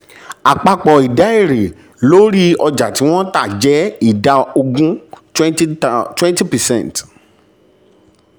àpapọ̀ ìdá èrè lórí ọjà tí wọ́n tà jẹ́ ìdá ogún twenty percent.